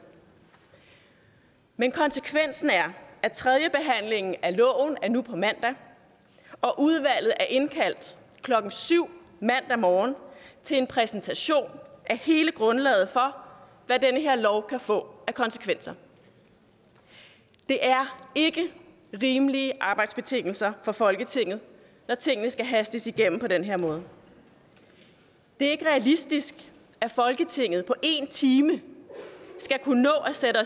men konsekvensen er at tredjebehandlingen af loven er nu på mandag og udvalget er indkaldt klokken syv mandag morgen til en præsentation af hele grundlaget for hvad den her lov kan få af konsekvenser det er ikke rimelige arbejdsbetingelser for folketinget når tingene skal hastes igennem på den her måde det er ikke realistisk at folketinget på en time skal kunne nå at sætte